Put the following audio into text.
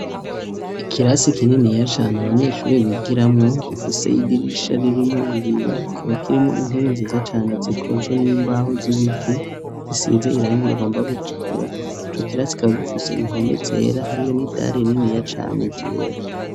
Ikirasi kininiya cane abanyeshuri bigiramwo gifise idirisha ririmwo ibiyo kikaba kirimwo intebe nziza cane zikozwe n'imbaho z'ibiti zisize irangi rigomba gutukura. Icokirasi kikaba gifise impome zera hariyo n'idare rininiya cane ryera.